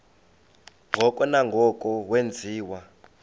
ngoko nangoko wenziwa